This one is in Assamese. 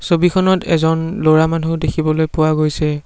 ছবিখনত এজন ল'ৰা মানুহ দেখিবলৈ পোৱা গৈছে।